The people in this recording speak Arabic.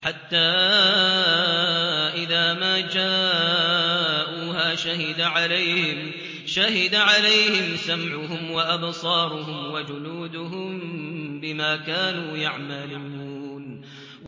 حَتَّىٰ إِذَا مَا جَاءُوهَا شَهِدَ عَلَيْهِمْ سَمْعُهُمْ وَأَبْصَارُهُمْ وَجُلُودُهُم بِمَا كَانُوا يَعْمَلُونَ